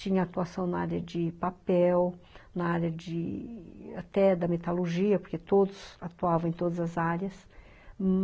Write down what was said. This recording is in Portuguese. Tinha atuação na área de papel, na área até da metalurgia, porque todos atuavam em todas as áreas.